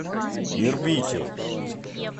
ирбите